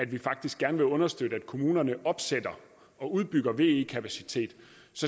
vi faktisk gerne vil understøtte at kommunerne opsætter og udbygger ve kapacitet